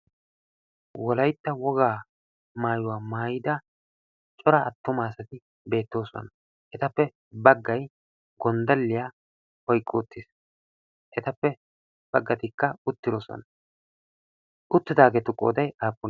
wolaitta wogaa maayuwaa maayida cora attuma asati beettoosona. etappe baggai gonddaliyaa oiqqi uttiis. etappe baggatikka uttiyoosuwana uttidaageetu qodai appune?